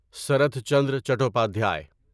Sarat Chandra Chattopadhyay